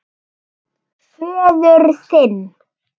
Föður þinn.